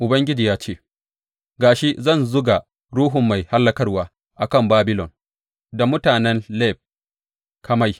Ubangiji ya ce, Ga shi, zan zuga ruhun mai hallakarwa a kan Babilon da mutanen Leb Kamai.